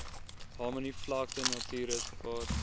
harmony vlakte natuurreservaat